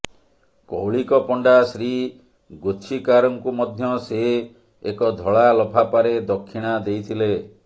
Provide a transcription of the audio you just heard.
କୌଳିକ ପଣ୍ଡା ଶ୍ରୀ ଗୋଛିକାରଙ୍କୁ ମଧ୍ୟ ସେ ଏକ ଧଳା ଲଫାଫାରେ ଦକ୍ଷିଣା ଦେଇଥିଲେ